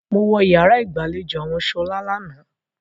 Mo wọ yàrá ìgbàlejò àwọn Ṣọlá lánàá.